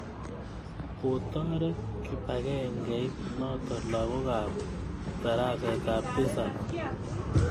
Kotoret kipakengeit notok lagok ap tarasetap tisap